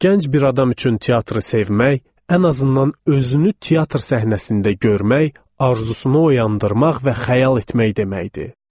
Gənc bir adam üçün teatrı sevmək, ən azından özünü teatr səhnəsində görmək arzunu oyandırmaq və xəyal etmək deməkdir.